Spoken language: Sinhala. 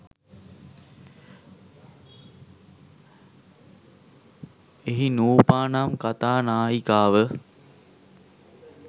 එහි නූපා නම් කතා නායිකාව